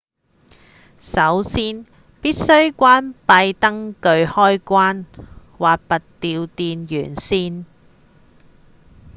首先必須關閉燈具開關或拔掉電源線